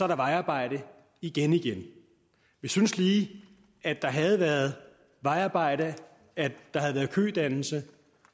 der vejarbejde igen igen vi synes lige at der havde været vejarbejde at der havde været kødannelse